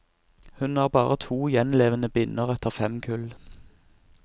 Hun har bare to gjenlevende binner etter fem kull.